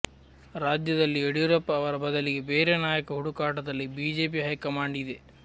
ರಾಜ್ಯದಲ್ಲಿ ಯಡಿಯೂರಪ್ಪ ಅವರ ಬದಲಿಗೆ ಬೇರೆ ನಾಯಕ ಹುಡುಕಾಟದಲ್ಲಿ ಬಿಜೆಪಿ ಹೈಕಮಾಂಡ್ ಇದೆ